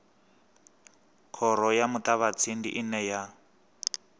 khoro ya muṱavhatsindi ine ya